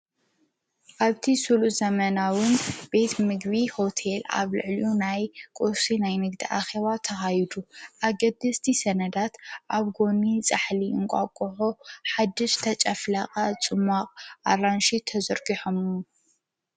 ኣብቲ ሡሉ ዘመናዉን ቤት ምግቢ ሁቴል ኣብ ልዕሊዩ ናይ ቊርሴ ናይ ንግቲ ኣኸባ ተካይዱ ኣገድ ስቲ ሰነዳት ኣብ ጐኒ ጻሕሊ እንቋጕሆ ሓድሽ ተጨፍሊቁ ፁማቕ ኣራንሺ ተፆሚቁ ተዘርጕ ሖምኑ